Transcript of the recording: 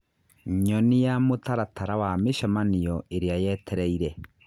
Nyonia mũtaratara wa mĩcemanio ĩrĩa yetereĩre